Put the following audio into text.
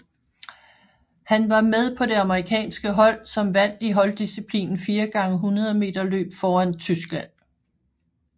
Han var med på det amerikanske hold som vandt i holddisciplinen 4 x 100 meterløb foran Tyskland